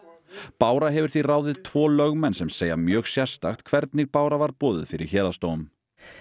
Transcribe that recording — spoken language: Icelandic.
bára hefur því ráðið tvo lögmenn sem segja mjög sérstakt hvernig Bára var boðuð fyrir Héraðsdóm